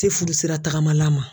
Se furu sira tagamala ma.